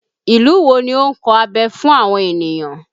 Ìlú wo ni ó ń kọ abẹ fún àwọn ènìyàn?